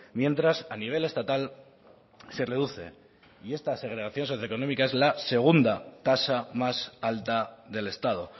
mientras a nivel estatal se reduce y esta segregación socioeconómica es la segunda tasa más alta del estado